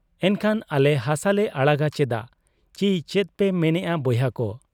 ᱮᱢᱠᱷᱟᱱ ᱟᱞᱮ ᱦᱟᱥᱟᱞᱮ ᱟᱲᱟᱜᱟ ᱪᱮᱫᱟᱜ ? ᱪᱤ ᱪᱮᱫᱯᱮ ᱢᱮᱱᱮᱜ ᱟ ᱵᱚᱭᱦᱟᱠᱚ !